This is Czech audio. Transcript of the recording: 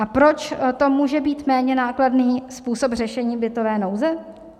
A proč to může být méně nákladný způsob řešení bytové nouze?